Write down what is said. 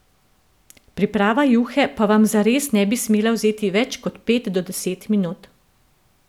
Priprava juhe pa vam zares ne bi smela vzeti več kot pet do deset minut.